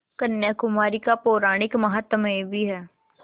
कन्याकुमारी का पौराणिक माहात्म्य भी है